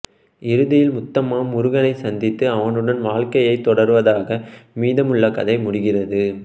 இறுதியில் முத்தம்மா முருகனை சந்தித்து அவனுடன் வாழ்க்கையைத் தொடர்வதாக மீதமுள்ள கதை முடிகிறது